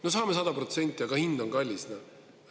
No saame 100%, aga hind on kallis.